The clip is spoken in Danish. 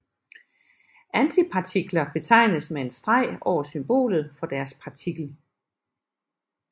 Antipartikler betegnes med en streg over symbolet for deres partikel